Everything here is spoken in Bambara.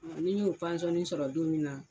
ni n y'o pansonni sɔrɔ don min na